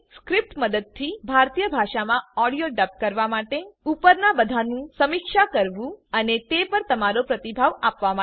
script મદદથી ભારતીય ભાષા માં ઓડિયો ડબ કરવા માટે ઉપરના બધાનું સમીક્ષા કરવું અને તે પર તમારો પ્રતિભાવ આપવા માટે